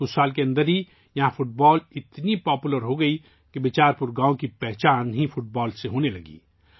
چند ہی سالوں میں فٹ بال اس قدر مقبول ہو گیا کہ بیچار پور گاؤں کی پہچان ہی فٹ بال سے ہونے لگی